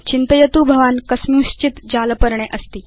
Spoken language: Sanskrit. चिन्तयतु भवान् कस्मिन् चित् जालपर्णे अस्ति